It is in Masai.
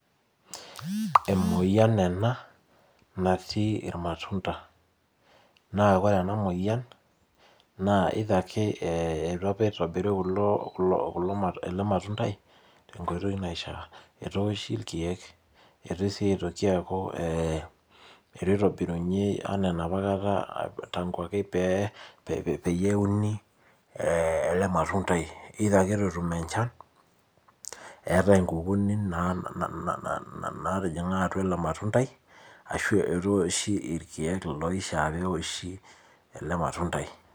Emoyian ena naatii ir matunda naa ore ena moyian naa either ake eitu apa itobiri kulo ele matunda i tenkoitoi naishaa eitu eoshi irkeek, eitu siii eitu itobirini enaa tangu ake peepeyie euni ele matunda i either ake eitu etumi enchan etae inkukini natijing'a atua ele matunda i eitu epiki irkeek oishaa peoshi ele matunda i.